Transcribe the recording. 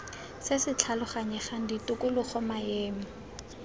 se se tlhaloganyegang tikologo maemo